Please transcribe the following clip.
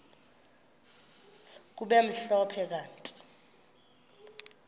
kube mhlophe kanti